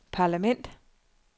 parlament